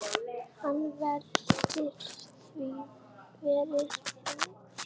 Hann veltir því fyrir sér.